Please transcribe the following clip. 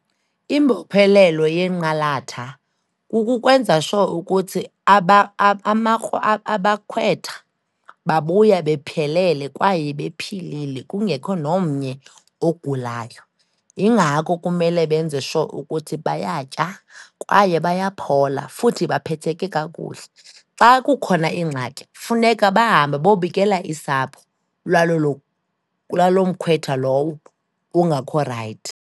Imbophelelo yenqalatha kukukwenza sure ukuthi abakhwetha babuya bephelele kwaye bephilile kungekho nomnye ogulayo. Yingako kumele benze sure ukuthi bayatya kwaye bayaphola, futhi baphetheke kakuhle. Xa kukhona ingxaki, funeka bahambe bobikela isapho laloo kulaloomkhwetha lowo ungakho rayithi.